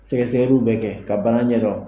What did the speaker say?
Sɛgɛsɛgɛliw bɛ kɛ ka bana ɲɛdɔn.